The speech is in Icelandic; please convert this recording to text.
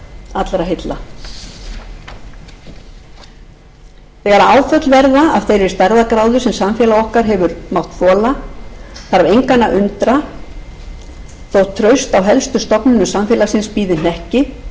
allra heilla þegar áföll verða af þeirri stærðargráðu sem samfélag okkar hefur mátt þola þarf engan að undra þótt traust á helstu stofnunum samfélagsins bíði hnekki og er alþingi þar